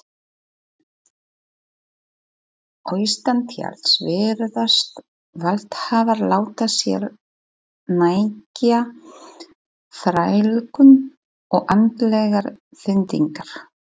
Austantjalds virðast valdhafar láta sér nægja þrælkun og andlegar pyndingar.